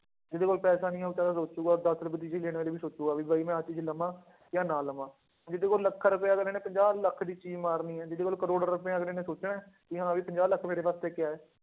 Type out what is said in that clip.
ਜਿਹਦੇ ਕੋਲ ਪੈਸੇ ਨਹੀਂ ਹੈ ਉਹ ਤਾਂ ਸੋਚੇਗਾ ਦਸ ਰੁਪਏ ਦੀ ਚੀਜ਼ ਲੈਣ ਵੇਲੇ ਵੀ ਸੋਚੇਗਾ ਵੀ ਬਾਈ ਮੈਂ ਆਹ ਚੀਜ਼ ਲਵਾਂ ਜਾਂ ਨਾ ਲਵਾਂ ਜਿਹਦੇ ਕੋਲ ਲੱਖਾਂ ਰੁਪਇਆ ਅਗਲੇ ਨੇ ਪੰਜਾਹ ਲੱਖ ਦੀ ਚੀਜ਼ ਮਾਰਨੀ ਹੈ ਜਿਹਦੇ ਕੋਲ ਕਰੌੜ ਰੁਪਇਆ ਅਗਲੇ ਨੇ ਸੋਚਣਾ ਹੈ, ਕਿ ਹਾਂ ਵੀ ਪੰਜਾਹ ਲੱਖ ਮੇਰੇ ਵਾਸਤੇ ਕਿਆ ਹੈ।